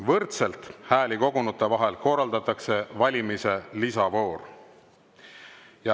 Võrdselt hääli kogunute vahel korraldatakse valimise lisavoor.